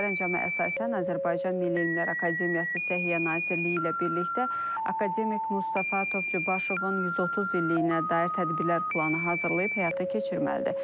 Sərəncama əsasən Azərbaycan Milli Elmlər Akademiyası Səhiyyə Nazirliyi ilə birlikdə akademik Mustafa Topçubaşovun 130 illiyinə dair tədbirlər planı hazırlayıb həyata keçirməlidir.